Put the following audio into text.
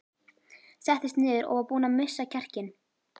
Settist niður og var búin að missa kjarkinn.